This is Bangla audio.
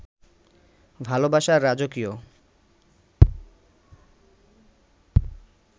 ভালোবাসার রাজকীয়